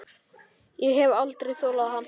Ég hef aldrei þolað hann.